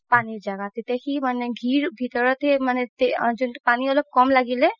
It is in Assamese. পানি জাগাত তেতিয়া সি মানে ঘিৰ ভিতৰতে পানি অলপ ক'ম লাগিলে